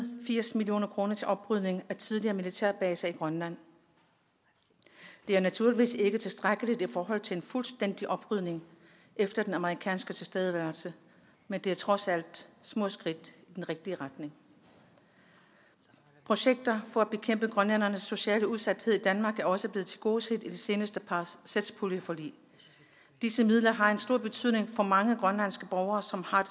firs million kroner til oprydning af tidligere militærbaser i grønland det er naturligvis ikke tilstrækkeligt i forhold til en fuldstændig oprydning efter den amerikanske tilstedeværelse men det er trods alt små skridt i den rigtige retning projekter for at bekæmpe grønlændernes sociale udsathed i danmark er også blevet tilgodeset i de seneste satspuljeforlig disse midler har en stor betydning for mange grønlandske borgere som har